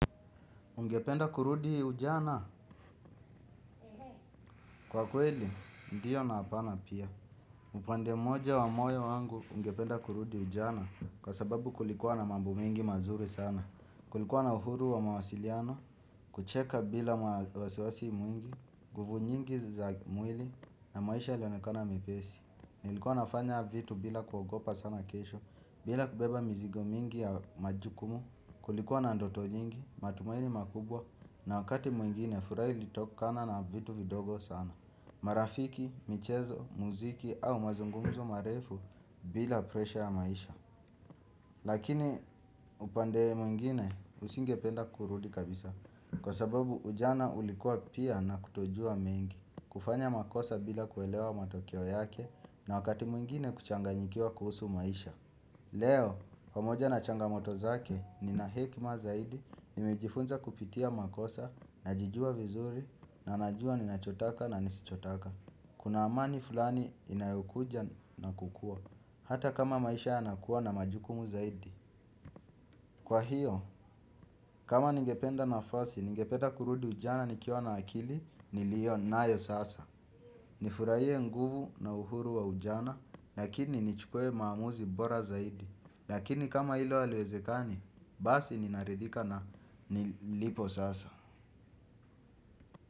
Ungependa kurudi ujana? Kwa kweli, ndiyo na hapana pia. Upande mmoja wa moyo wangu ungependa kurudi ujana kwa sababu kulikuwa na mambo mengi mazuri sana. Kulikuwa na uhuru wa mawasiliano, kucheka bila ma wasiwasi mwingi, nguvu nyingi za mwili na maisha ilionekana myepesi. Nilikuwa nafanya vitu bila kuogopa sana kesho, bila kubeba mzigo mingi ya majukumu, kulikuwa na ndoto nyingi, matumaini makubwa, na wakati mwingine furaha ilitokana na vitu vidogo sana. Marafiki, michezo, muziki au mazungumuzo marefu bila presha ya maisha. Lakini upande mwingine usingependa kurudi kabisa. Kwa sababu ujana ulikua pia na kutojua mengi. Kufanya makosa bila kuelewa matokeo yake na wakati mwingine kuchanganyikia kuhusu maisha. Leo, pamoja na changamoto zake nina hekima zaidi. Nimejifunza kupitia makosa, najijua vizuri, ninajua ninachotaka na nisichotaka. Kuna amani fulani inayokuja na kukua hata kama maisha yanakuwa na majukumu zaidi. Kwa hiyo, kama ningependa nafasi, ningependa kurudi ujana nikiwa na akili, nilio nayo sasa nifurahie nguvu na uhuru wa ujana, lakini nichukue maamuzi bora zaidi. Lakini kama hilo aliwezekani, basi ninaridhika na nilipo sasa.